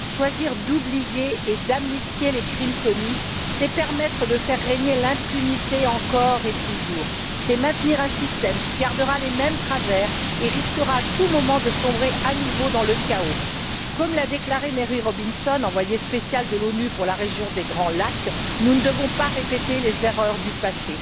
Choisir d'oublier et d'amnistier les crimes commis, c'est permettre de faire régner l'impunité encore et toujours. C'est maintenir un système qui conservera les mêmes travers et risquera à tout moment de sombrer à nouveau dans le chaos. Comme l'a déclaré Mary Robinson, envoyée spéciale de l'ONU pour la région des Grands Lacs, nous ne devons pas répéter les erreurs du passé.